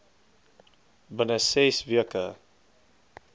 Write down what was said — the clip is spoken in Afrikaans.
binne ses weke